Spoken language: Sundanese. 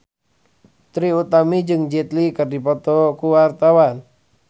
Trie Utami jeung Jet Li keur dipoto ku wartawan